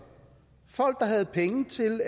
folk der havde penge til